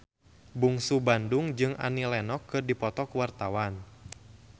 Bungsu Bandung jeung Annie Lenox keur dipoto ku wartawan